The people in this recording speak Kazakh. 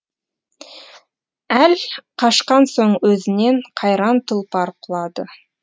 әл қашқан соң өзінен қайран тұлпар құлады